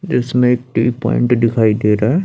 जिसमें एक T point दिखाई दे रहा है।